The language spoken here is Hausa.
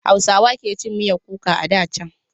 Hausawa ke cin miyar kuka a da can.